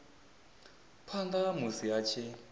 phanda ha musi a tshi